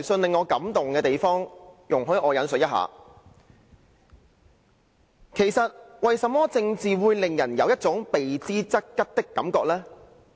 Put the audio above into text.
這封電郵令我感動，容許我引述："其實，為甚麼政治會令人有一種避之則吉的感覺呢？